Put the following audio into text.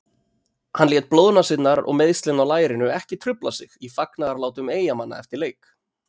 Hann lét blóðnasirnar og meiðslin á lærinu ekki trufla sig í fagnaðarlátum Eyjamanna eftir leik.